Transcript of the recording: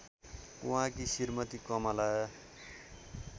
उहाँकी श्रीमती कमला